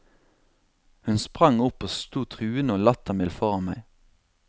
Hun sprang opp og sto truende og lattermild foran meg.